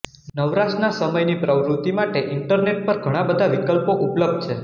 નવરાશના સમયની પ્રવૃતિ માટે ઈન્ટરનેટ પર ઘણા બધા વિકલ્પો ઉપલબ્ધ છે